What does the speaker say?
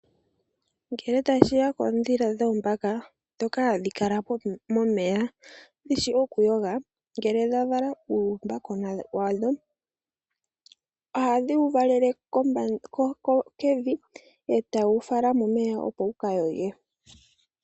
Ngele tashiya koondhila dhoombaka ndhoka hadhi kala momeya dhishi okuyoga, ngele dhavala uumbakona wadho ohadhi wuvalale kevi etadhi wu fala momeya opo wuka yoge.